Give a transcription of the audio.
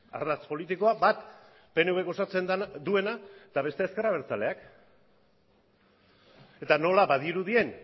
ardatz politikoa bat pnvk osatzen duena eta bestea ezker abertzaleak eta nola badirudien